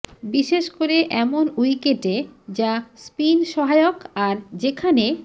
বিশেষ করে এমন উইকেটে যা স্পিন সহায়ক আর যেখানে